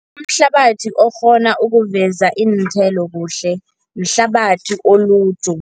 Umhlabathi okghona ukuveza iinthelo kuhle, mhlabathi oluju.